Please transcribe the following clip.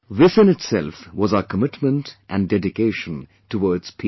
This in itself was our commitment & dedication towards peace